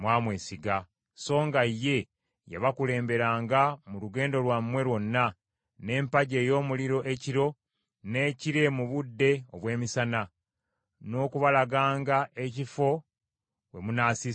songa ye, yabakulemberanga mu lugendo lwammwe lwonna, n’empagi ey’omuliro ekiro, n’ekire mu budde obw’emisana, n’okubalaganga ekifo we munaasiisiranga.